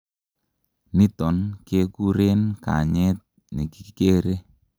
niton kekuren kanyet nikikere